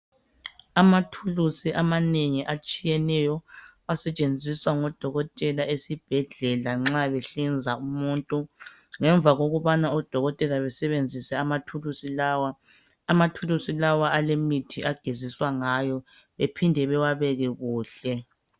Amathulusi amanengi atshiyeneyo asetshenziswa ngodokotela esibhedlela nxa behlinza umuntu. Ngemva kokubana odokotela besebenzise amathulusi lawa, amathulusi lawa alaemithi ageziswa ngayo ephinde bewabeke kuhle.